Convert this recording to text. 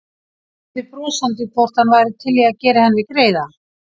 Spurði brosandi hvort hann væri til í að gera henni greiða.